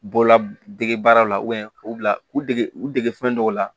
Bɔlɔla dege baara la k'u bila u dege u dege fɛn dɔw la